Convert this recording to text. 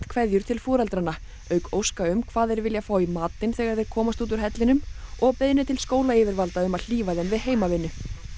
kveðjur til foreldranna auk óska um hvað þeir vilja í matinn þegar þeir komast úr hellinum og beiðni til skólayfirvalda um að hlífa þeim við heimavinnu